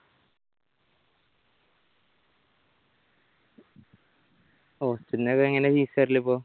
hostel ന്റെ ഒക്കെ എങ്ങനെയാ fees വെരല് ഇപ്പോ